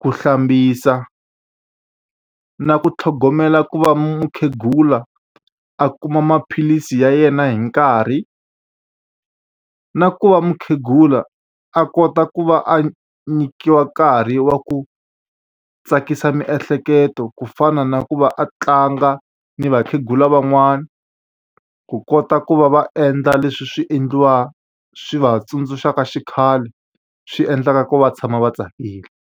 ku hlambisa, na ku tlhogomela ku va mukhegula a kuma maphilisi ya yena hi nkarhi, na ku va mukhegula a kota ku va a nyikiwa nkarhi wa ku tsakisa miehleketo ku fana na ku va a tlanga ni vakhegula van'wana, ku kota ku va va endla leswi swi swi va tsundzuxaka xikhale swi endlaka ku va tshama va tsakile.